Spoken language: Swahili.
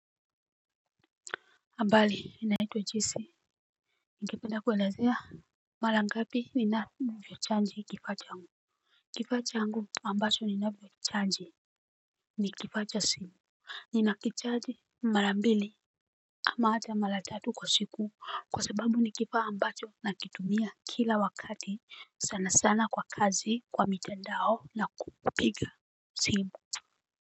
Habari ninaitwa Jesse, ningependa kuwaelezea. Mara ngapi ninavyochaji kifaa changu. Kifaa changu amnacho ninachokichaji ni kifaa cha simu. Nina kichaji mara mbili ama ata mara tatu kwa siku kwa sababu ni kifaa ambacho nakitumia kila wakati sana sana kwa kazi kwa mitandao na kupiga simu.